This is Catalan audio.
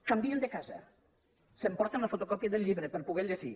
canvien de casa s’emporten la fotocòpia del llibre per a poder lo llegir